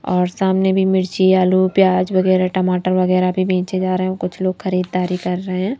और सामने भी मिर्ची आलू प्याज वगैरह टमाटर वगैरह भी बेचे जा रहे हैं कुछ लोग खरीददारी कर रहे हैं।